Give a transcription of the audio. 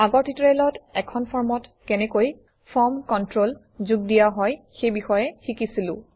আগৰ টিউটৰিয়েলত এখন ফৰ্মত কেনেকৈ ফৰ্ম কণ্ট্ৰল যোগ দিয়া হয় সেই বিষয়ে শিকিছিলো